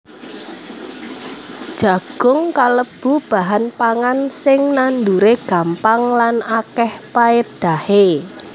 Jagung kalebu bahan pangan sing nanduré gampang lan akèh paédahé